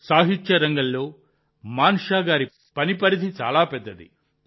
సాహిత్యరంగంలో మాన్షా గారి పని పరిధి చాలా పెద్దది